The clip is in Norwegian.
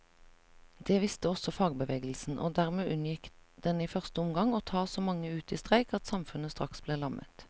Det visste også fagbevegelsen, og dermed unngikk den i første omgang å ta så mange ut i streik at samfunnet straks ble lammet.